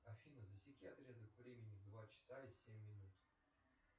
афина засеки отрезок времени в два часа и семь минут